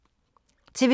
TV 2